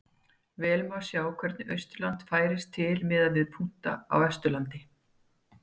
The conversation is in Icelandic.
Vel má sjá hvernig Austurland færist til miðað við punkta á Vesturlandi.